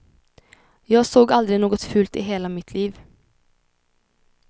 Jag såg aldrig något fult i hela mitt liv.